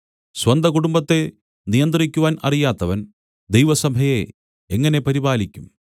സ്വന്തകുടുംബത്തെ നിയന്ത്രിക്കുവാൻ അറിയാത്തവൻ ദൈവസഭയെ എങ്ങനെ പരിപാലിക്കും